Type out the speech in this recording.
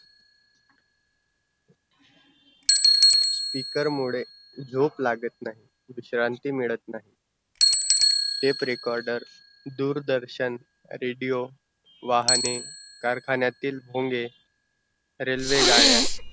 speaker मुड़े झोप लागत नाही, विश्रांती मिळत नाही tape recorder दूरदर्शन, radio वाहने कारखान्यातिल पोंगे railway गाड्या